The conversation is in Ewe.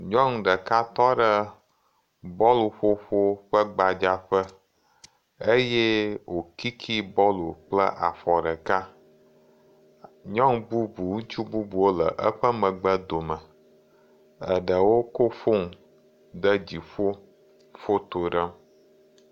Nyɔnu ɖeka tɔ ɖe bɔlu ƒoƒo ƒe gbadzaƒe eye wòkiiki bɔlu kple afɔ ɖeka. Nyɔnu bubu, ŋutsu bubuwo le eƒe megbe dome. Eɖewo kɔ fonu ɖe dziƒo foto ɖem